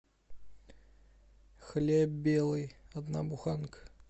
хлеб белый одна буханка